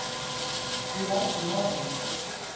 Því lætur maðurinn svona?